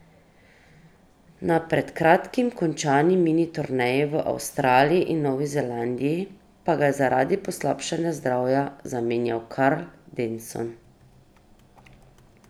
Na pred kratkim končani mini turneji v Avstraliji in Novi Zelandiji pa ga je zaradi poslabšanega zdravja zamenjal Karl Denson.